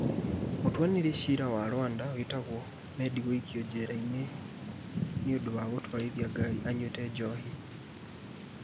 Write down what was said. Mũtuanĩri cira wa Rwanda wĩtagwo Meddy gũikio njera nĩ ũndũ wa gũtwarithia ngari anyuaga njohi